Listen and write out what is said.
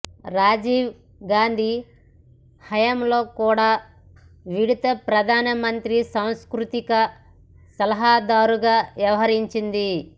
రాజీవ్ గాంధీ హయాంలో కూడా ఈవిడ ప్రధాన మంత్రి సాంస్కృతిక సలహాదారుగా వ్యవహరించింది